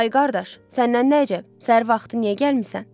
Ay qardaş, səndən nə əcəb, səhər vaxtı niyə gəlmisən?